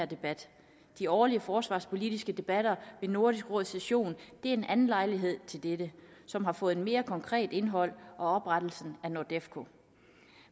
debat de årlige forsvarspolitiske debatter ved nordisk råds session er en anden lejlighed til det som har fået et mere konkret indhold oprettelsen af nordefco